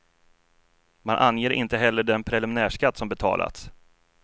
Man anger inte heller den preliminärskatt som betalats.